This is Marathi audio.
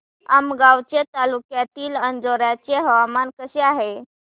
आमगाव तालुक्यातील अंजोर्याचे हवामान कसे आहे